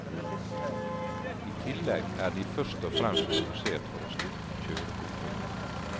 I tillegg er de først og fremst produsert for å styrke kjørekomforten.